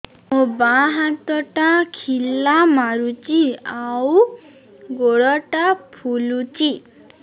ମୋ ବାଆଁ ହାତଟା ଖିଲା ମାରୁଚି ଆଉ ଗୁଡ଼ ଟା ଫୁଲୁଚି